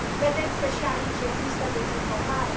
Vedeți că și aici există dezinformare?